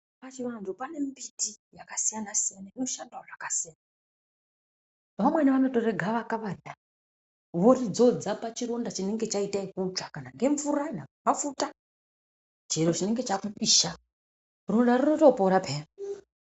Pachivantu pane mbiti yakasiyana-siyana inoshandawo zvakasiyana. Vamweni vanotore gavakava riya voridzodza pachironda chinenge chaita ekutsva kana ngemvura dai mafuta, chero chinge chakupisha. Ronda rinotopora peya.